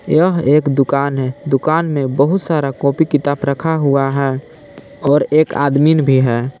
यह एक दुकान है दुकान मे बहुत सारा कॉपी किताब रखा हुआ है और एक आदमीन भी है।